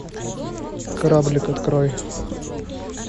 кораблик открой